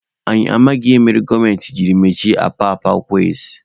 Anyị amaghị ihe mere gọọmenti jiri mechie apapa kways.